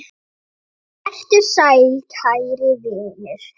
Vertu sæll, kæri vinur.